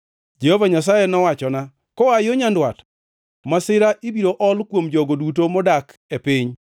Jehova Nyasaye nowachona, “Koa yo nyandwat masira ibiro ol kuom jogo duto modak e piny.